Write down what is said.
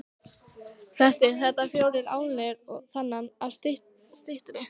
Flestir þetta fjórar álnir og þaðan af styttri.